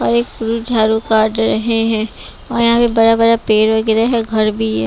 और यहाँ काट रहे हैं और यहां पर बड़ा बड़ा पेड़ वगैरा हैं घर भी हैं ।